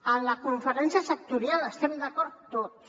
en la conferència sectorial hi estem d’acord tots